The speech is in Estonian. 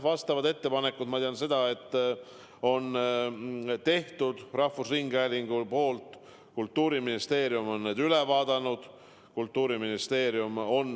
Vastavad ettepanekud rahvusringhäälingu poolt on tehtud, ma tean seda, ja Kultuuriministeerium on need üle vaadanud.